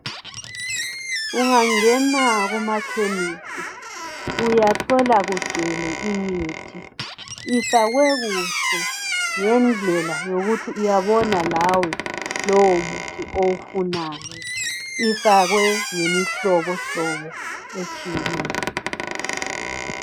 Ungangena kumakhemisi uyathola kugcwele imithi ifakwe kuhle ngendlela yokuthi uyabona lawe lowo umuthi owufunayo, ifakwe ngemihlobo hlobo etshiyeneyo.